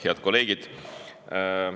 Head kolleegid!